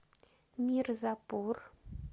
мирзапур